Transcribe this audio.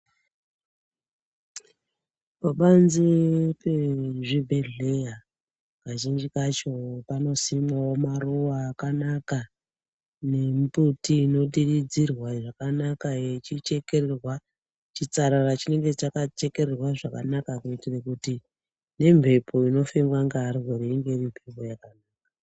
Pabanze pezvibhedhleya kazhinji kacho panosimwawo maruva akanaka nembuti inodiridzirwa zvakanaka yechichekererwa, chitsarara chinenge chakachekererwa zvakanaka kuitira kuti nemhepo inofemwa ngevarwere inge iri mhepo yakanaka.